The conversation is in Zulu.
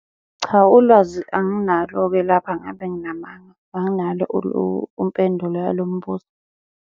Cha, ulwazi anginalo-ke lapha ngabe nginamanga. Anginalo umpendulo yalo mbuzo.